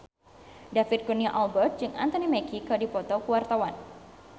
David Kurnia Albert jeung Anthony Mackie keur dipoto ku wartawan